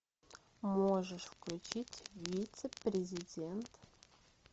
можешь включить вице президент